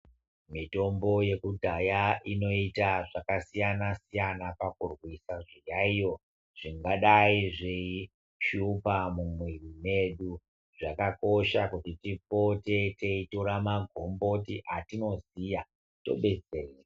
Mitombo yekudhaya inoita zvaka siyana siyana pakurwisa zviyayiyo zvingadai zveyi shupa mu mwiri mwedu zvakakosha kuti tipote teyi tora ma gomboti atino ziya to detsereka.